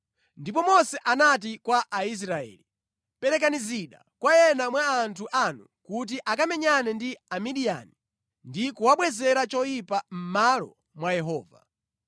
Ndipo Mose anati kwa Aisraeli, “Perekani zida kwa ena mwa anthu anu kuti akamenyane ndi Amidiyani ndi kuwabwezera choyipa mʼmalo mwa Yehova.